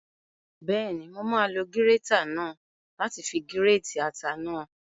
Bẹ́ẹ̀ni, mo máa lo gírétà náà láti fi gírètì ata náà